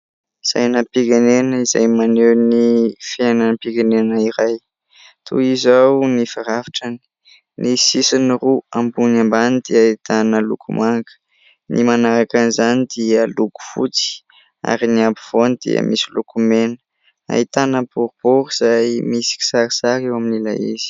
Sainam-pirenena izay maneho ny fiainanam-pirenena iray. Toy izao ny firafitrany : ny sisiny roa ambony ambany dia ahitana loko manga, ny manaraka an'izany dia loko fotsy ary ny ampovoany dia misy loko mena, ahitana boribory izay misy kisarisary eo amin'ilay izy.